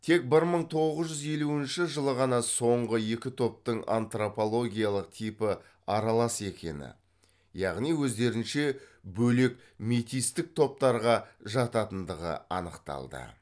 тек бір мың тоғыз жүз елуінші жылы ғана соңғы екі топтың антропологиялық типі аралас екені яғни өздерінше бөлек метистік топтарға жататындығы анықталды